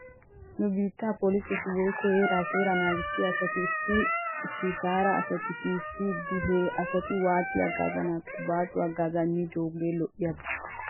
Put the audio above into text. Nu biittaa poliseti woykko heeraa seeraa naagissiyaa asati issi issi shaara asata shiishidi he asata waatidi hagaazanaakko baaso hagaazaa immidoogee lo'oba